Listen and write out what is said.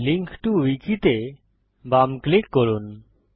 link টো উইকি তে বাম ক্লিক করুন